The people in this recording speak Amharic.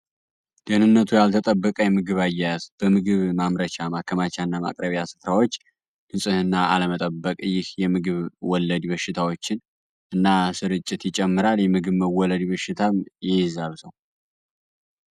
ደህንነቱ ያልተጠበቃ የምግብ አየያዝ በምግብ ማምረቻ ማከማቻ እና ማቅረቢ አስትራዎች ግንጽህና ዓለመጠበቅ እይህ የምግብ ወለድ ይበሽታዎችን እና ስር እጭት ይጨምራል የምግብ መወለድ ይበሽታም ይይዛር ሰው